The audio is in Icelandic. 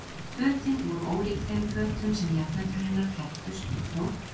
Fötin voru ólík þeim fötum sem jafnöldrur hennar klæddust og þótt